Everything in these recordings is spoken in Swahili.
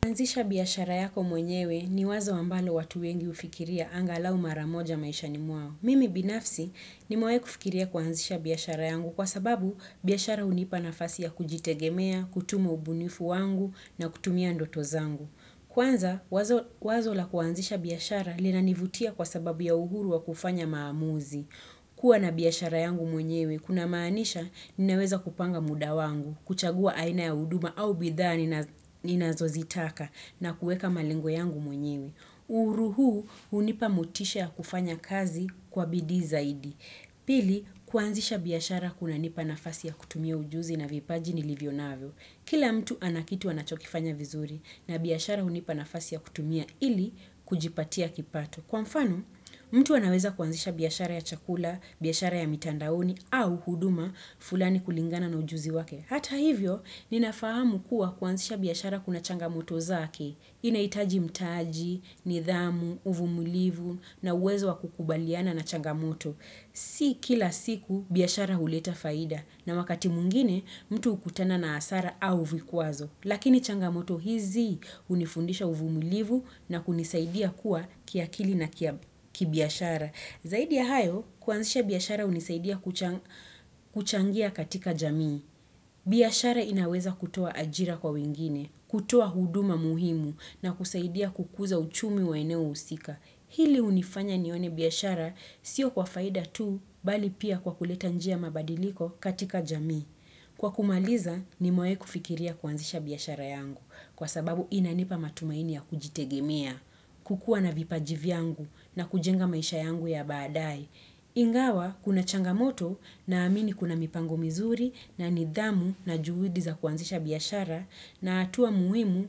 Kuanzisha biyashara yako mwenyewe ni wazo ambalo watu wengi ufikiria anga lau maramoja maisha ni mwao. Mimi binafsi nimewai kufikiria kwaanzisha biyashara yangu kwa sababu biyashara unipa nafasi ya kujitegemea, kutumo ubunifu wangu na kutumia ndoto zangu. Kwanza wazo la kuanzisha biyashara linanivutia kwa sababu ya uhuru wa kufanya maamuzi. Kua na biyashara yangu mwenyewe, kuna maanisha ninaweza kupanga muda wangu, kuchagua aina ya uduma au bidhaa ninazozitaka na kueka malingo yangu mwenyewe. Uruhu, unipa mutisha ya kufanya kazi kwa bidii zaidi. Pili, kuanzisha biashara kuna nipa nafasi ya kutumia ujuzi na vipaji ni livyonaveo. Kila mtu anakitu anachokifanya vizuri na biyashara unipa nafasi ya kutumia ili kujipatia kipato. Kwa mfanu, mtu anaweza kuanzisha biyashara ya chakula, biyashara ya mitandaoni au huduma fulani kulingana na ujuzi wake. Hata hivyo, ninafahamu kuwa kuanzisha biyashara kuna changamoto zake. Inaitaji mtaaji, nidhamu, uvumulivu na uwezo wa kukubaliana na changamoto. Si kila siku biashara huleta faida na wakati mungine mtu ukutana na asara au vikuazo. Lakini changamoto hizi unifundisha uvumilivu na kunisaidia kuwa kia kili na kibiashara. Zaidi ya hayo, kuanzisha biashara unisaidia kuchangia katika jamii. Biashara inaweza kutoa ajira kwa wengine, kutoa huduma muhimu na kusaidia kukuza uchumi wa eneo usika. Hili unifanya nione biashara sio kwa faida tu bali pia kwa kuleta njia mabadiliko katika jamii. Kwa kumaliza nimewai kufikiria kuanzisha biyashara yangu kwa sababu inanipa matumaini ya kujitegemea, kukua na vipajivi yangu na kujenga maisha yangu ya baadae. Ingawa kuna changamoto naamini kuna mipango mizuri na nidhamu na juhudi za kuanzisha biashara na atua muimu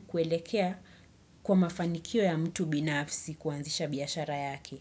kuelekea kwa mafanikio ya mtu binafsi kuanzisha biyashara yake.